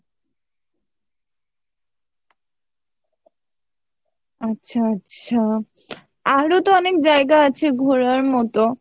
আচ্ছা আচ্ছা আরো তো অনেক জায়গা আছে ঘোরার মতো